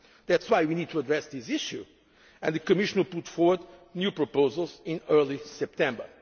States or China. This is why we need to address this issue, and the Commission will put forward new proposals